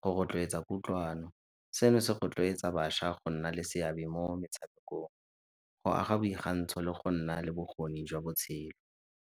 go rotloetsa kutlwano. Seno se rotloetsa bašwa go nna le seabe mo metshamekong, go aga le go nna le bokgoni jwa botshelo.